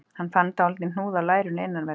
Hann fann dálítinn hnúð á lærinu innanverðu